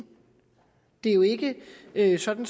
det er jo ikke ikke sådan